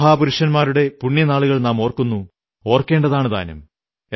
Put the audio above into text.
മഹാപുരുഷന്മാരുടെ പുണ്യനാളുകൾ നാം ഓർക്കുന്നു ഓർക്കേണ്ടതാണു താനും